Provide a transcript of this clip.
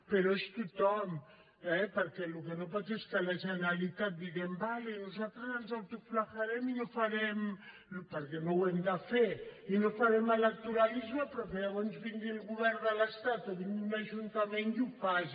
però és tothom eh perquè el que no pot ser és que en la generalitat diguem d’acord nosaltres ens autoflagel·lem i no farem perquè no ho hem de fer electoralisme però que llavors vingui el govern de l’estat o vingui un ajuntament i ho faci